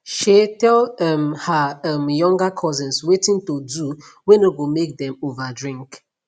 shey tell um her um younger cousins watin to do whey no go make them over drink